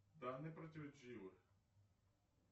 данные противоречивы